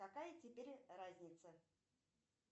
какая теперь разница